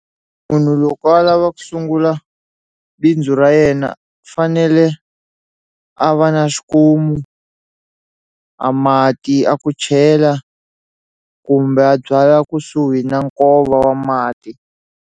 Munhu loko a lava ku sungula bindzu ra yena u fanele a va na xikomu a mati a ku chela kumbe a byala kusuhi na nkova wa mati.